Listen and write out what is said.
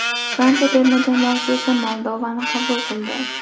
Fransiya terma jamoasi esa Moldovani qabul qildi.